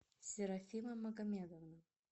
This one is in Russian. серафима магомедовна